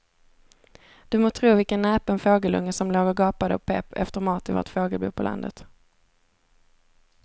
Du må tro vilken näpen fågelunge som låg och gapade och pep efter mat i vårt fågelbo på landet.